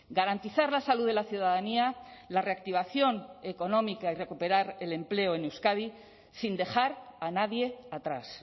garantizar la salud de la ciudadanía la reactivación económica y recuperar el empleo en euskadi sin dejar a nadie atrás